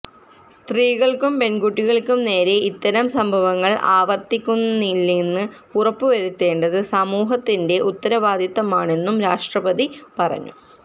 സ്ത്രീകള്ക്കും പെണ്കുട്ടികള്ക്കും നേരെ ഇത്തരം സംഭവങ്ങള് ആവര്ത്തിക്കുന്നില്ലെന്ന് ഉറപ്പുവരുത്തേണ്ടത് സമൂഹത്തിന്റെ ഉത്തരവാദിത്തമാണെന്നും രാഷ്ട്രപതി പറഞ്ഞു